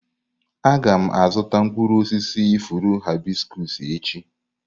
Aga m azụta mkpụrụ osisi ifuru hibiscos echi.